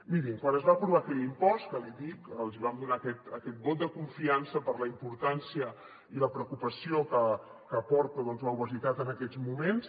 mirin quan es va aprovar aquell impost que li he dit els vam donar aquest vot de confiança per la importància i la preocupació que porta doncs l’obesitat en aquests moments